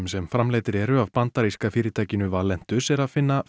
sem framleiddir eru af bandaríska fyrirtækinu Valentus er að finna